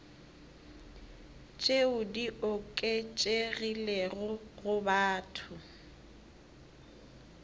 tšeo di oketšegilego go batho